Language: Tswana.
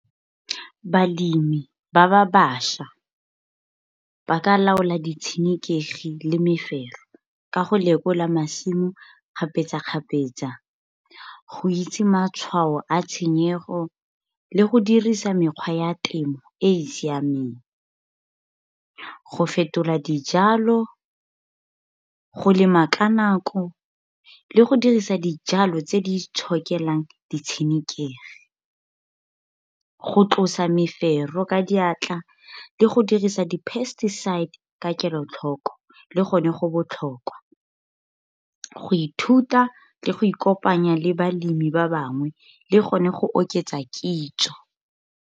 Balemi ba ba bašwa ba ka laola di tshenekegi le mefero, ka go lekola masimo kgapetsa-kgapetsa. Go itse matshwao a tshenyego, le go dirisa mekgwa ya temo e e siameng. Go fetola dijalo, go lema ka nako, le go dirisa dijalo tse di itshokelang di tshenekegi. Go tlosa mefero ka maatla, le go dirisa di-pesticide ka kelotlhoko le gone go botlhokwa. Go ithuta le go ikopanya le balemi ba bangwe, le gone go oketsa kitso.